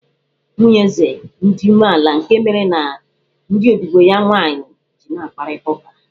Nwunye eze dị umeala nke mere ya ndị odibo ya nwaanyị ji n'akparịta ụka.